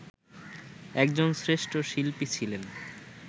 একজন শ্রেষ্ঠ শিল্পী ছিলেন